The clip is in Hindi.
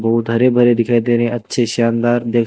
बहुत हरे भरे दिखाई दे रहे हैं अच्छे शानदार दे--